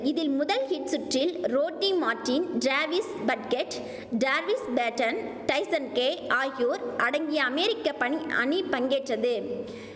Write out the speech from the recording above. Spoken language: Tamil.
இதில் முதல் ஹீட் சுற்றில் Rodney Martin Travis Padgett Darvis Patton டைசன்கே ஆகியோர் அடங்கிய அமேரிக்க பணி அணி பங்கேற்றது